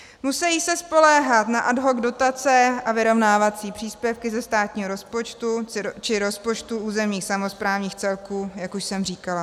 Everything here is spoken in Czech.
Musí se spoléhat na ad hoc dotace a vyrovnávací příspěvky ze státního rozpočtu či rozpočtů územních samosprávných celků, jak už jsem říkala.